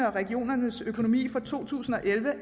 og regionernes økonomi for to tusind og elleve